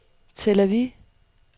Tel Aviv